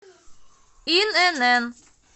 инн